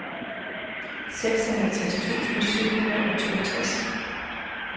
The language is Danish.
seksoghalvtreds tusind syv hundrede og toogtres